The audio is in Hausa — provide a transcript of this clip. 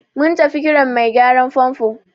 Mun tafi Kiran mai gyaran fanfo.